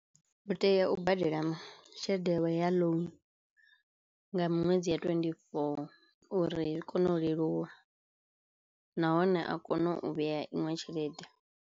U tea u badela tshelede yawe ya loan nga miṅwedzi ya twenty four uri i kone u leluwa nahone a kono u vheya iṅwe tshelede.